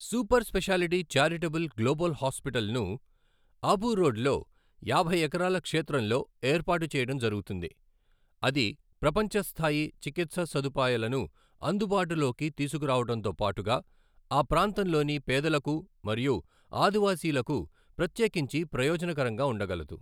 Super speciality charitable global hospital ను Abu road లో యాభై ఎకరాల క్షేత్రం లో ఏర్పాటు చేయడం జరుగుతుంది అది ప్రపంచ స్థాయి చికిత్స సదుపాయాలను అందుబాటులోకి తీసుకురావడంతోపాటుగా ఆ ప్రాంతం లోని పేదలకు మరియు ఆదివాసీలకు ప్రత్యేకించి ప్రయోజనకరంగా ఉండగలదు.